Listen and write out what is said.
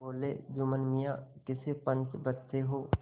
बोलेजुम्मन मियाँ किसे पंच बदते हो